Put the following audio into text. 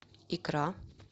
икра